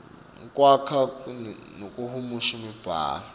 kwakha nekuhumusha imibhalo